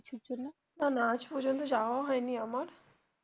না না আজ পর্যন্ত যাওয়া হয়নি আমার.